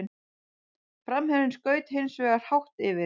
Framherjinn skaut hins vegar hátt yfir.